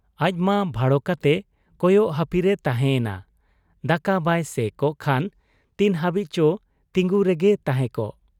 ᱟᱡᱢᱟ ᱵᱷᱟᱲᱚ ᱠᱟᱛᱮ ᱠᱚᱭᱚᱜ ᱦᱟᱹᱯᱤ ᱨᱮᱭ ᱛᱟᱦᱮᱸ ᱮᱱᱟ ᱾ ᱫᱟᱠᱟ ᱵᱟᱭ ᱥᱮᱻᱠᱚᱜ ᱠᱷᱟᱱ ᱛᱤᱱ ᱦᱟᱹᱵᱤᱡ ᱪᱚ ᱛᱤᱸᱜᱩ ᱨᱚᱝᱜᱮᱭ ᱛᱟᱦᱮᱸ ᱠᱚᱜ ?